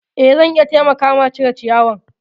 Eh zan iya taimaka ma cire ciyawa.